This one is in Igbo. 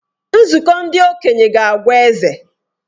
Nzukọ ndị okenye ga-agwa eze.